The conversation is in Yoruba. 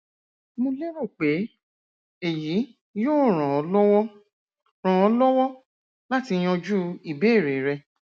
mo lérò pe eyi yoo ran ọ lọwọ ran ọ lọwọ lati yanju ibeere rẹ